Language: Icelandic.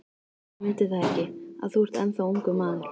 Ég mundi það ekki, að þú ert ennþá ungur maður.